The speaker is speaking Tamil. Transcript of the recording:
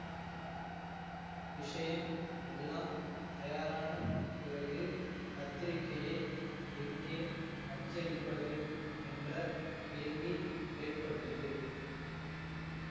விஷயம் எல்லாம் தயாரான பிறகு பத்திரிகையை எங்கே அச்சடிப்பது என்ற கேள்வி ஏற்பட்டது